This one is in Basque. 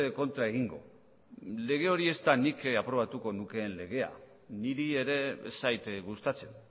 kontra egingo lege hori ez da nik aprobatuko nukeen legea niri ere ez zait gustatzen